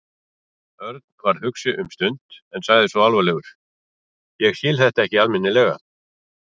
Örn varð hugsi um stund en sagði svo alvarlegur: Ég skil þetta ekki almennilega.